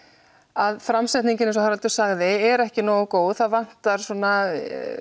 að framsetningin eins og Haraldur sagði er ekki nógu góð það vantar svona